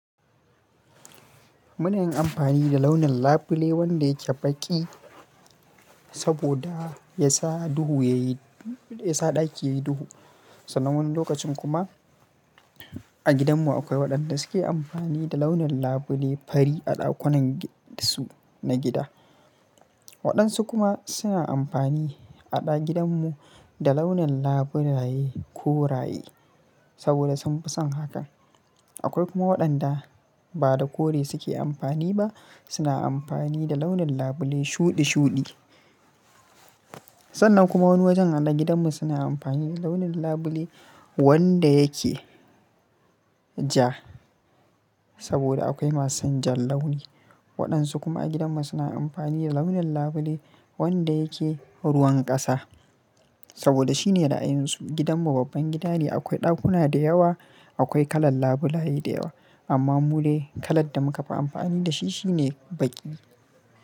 Muna yin amfani da launin labule wanda yake baƙi saboda ya sa duhu yayi, ya sa ɗaki yayi duhu. Sanan wani lokacin kuma a gidanmu akwai waɗanda suke amfani da launin labule fari a ɗakunan su na gida. Waɗansu kuma suna amfani a gidanmu da launin labulaye koraye saboda sun fi son hakan. Akwai kuma waɗanda ba da kore suke amfani ba, suna amfani da launin labule shuɗi shuɗi. Sannan kuma wani wajen a gidanmu suna amfani da launin labule wanda yake ja saboda akwai masu jan launi. Waɗansu kuma a gidanmu suna amfani da launin labule wanda yake ruwan ƙasa saboda shine ra'ayin su. Gidanmu babban gida ne, akwai ɗakuna da yawa, akwai kalar labulaye da yawa amma mule kalar da muka fi amfani da shi shine baƙi.